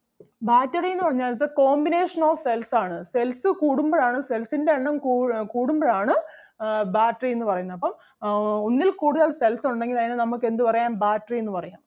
battery എന്ന് പറഞ്ഞാൽ it's a combination of cells ആണ് cells കൂടുമ്പഴാണ് cells ൻ്റെ എണ്ണം കൂ~ കൂടുമ്പഴാണ് ആഹ് battery എന്ന് പറയുന്നത്. അപ്പം ആഹ് ഒന്നിൽ കൂടുതൽ cells ഒണ്ടെങ്കിൽ അതിനെ നമുക്ക് എന്ത് പറയാം battery എന്ന് പറയാം.